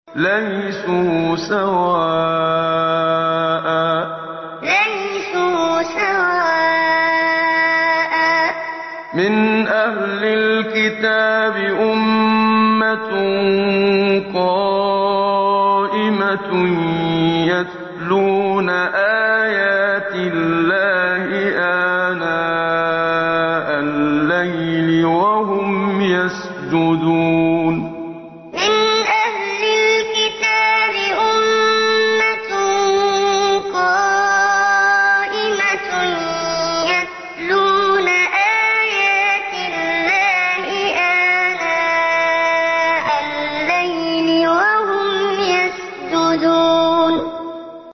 ۞ لَيْسُوا سَوَاءً ۗ مِّنْ أَهْلِ الْكِتَابِ أُمَّةٌ قَائِمَةٌ يَتْلُونَ آيَاتِ اللَّهِ آنَاءَ اللَّيْلِ وَهُمْ يَسْجُدُونَ ۞ لَيْسُوا سَوَاءً ۗ مِّنْ أَهْلِ الْكِتَابِ أُمَّةٌ قَائِمَةٌ يَتْلُونَ آيَاتِ اللَّهِ آنَاءَ اللَّيْلِ وَهُمْ يَسْجُدُونَ